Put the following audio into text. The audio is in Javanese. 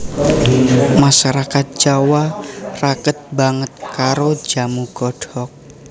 Masarakat Jawa raket banget karo jamu godhog